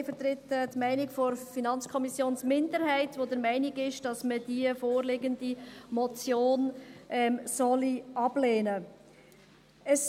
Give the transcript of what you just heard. Ich vertrete die Meinung der FiKo-Minderheit, die der Meinung ist, dass man die vorliegende Motion ablehnen sollte.